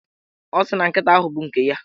Ọ sị na nkịta ahụ bụ nke ya.